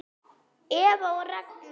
Eva og Ragnar.